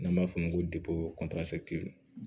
N'an b'a f'o ma ko